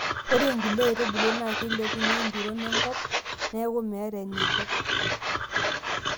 ore inkulie aitubulu naa keilepunyie empiron enkup neeku meeta eneiko